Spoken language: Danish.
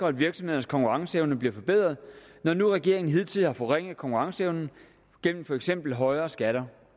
at virksomhedernes konkurrenceevne bliver forbedret når nu regeringen hidtil har forringet konkurrenceevnen gennem for eksempel højere skatter